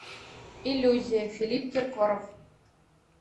иллюзия филипп киркоров